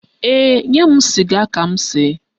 Ee, nye m sịga ka m see.